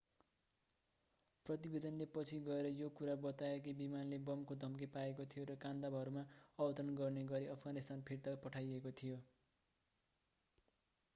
प्रतिवेदनले पछि गएर यो कुरा बतायो कि विमानले बमको धम्की पाएको थियो र कान्दाहारमा अवतरण गर्ने गरि अफगानिस्तान फिर्ता पठाइएको थियो